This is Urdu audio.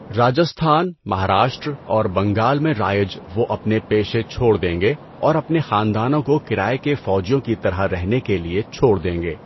راجستھان، مہاراشٹر اور بنگال میں رائج، وہ اپنے پیشے چھوڑ دیں گے اور اپنے خاندانوں کو کرائے کے فوجیوں کی طرح رہنے کے لیے چھوڑ دیں گے۔